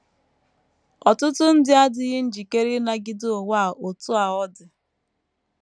Ọtụtụ ndị adịghị njikere ịnagide ụwa a otú a ọ dị.